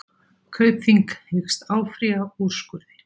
Kaupþing hyggst áfrýja úrskurði